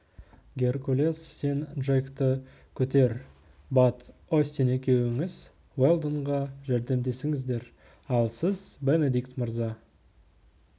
геркулес сен джекті көтер бат остин екеуіңіз уэлдонға жәрдемдесіңіздер ал сіз бенедикт мырза